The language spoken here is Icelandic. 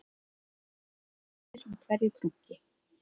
Það dimmir með hverju krunki